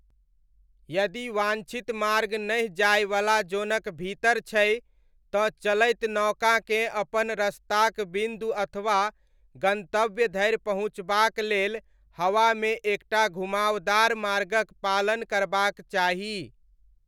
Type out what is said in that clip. यदि वाञ्छित मार्ग नहि जायवला जोनक भीतर छै, तँ चलैत नौकाकेँ अपन रस्ताक बिन्दु अथवा गन्तव्य धरि पहुँचबाक लेल हवामे एक टा घुमावदार मार्गक पालन करबाक चाही।